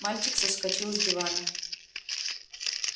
мальчик соскочил с дивана